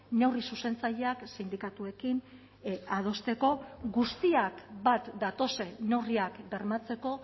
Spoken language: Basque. neurri zuzentzaileak sindikatuekin adosteko guztiak bat datozen neurriak bermatzeko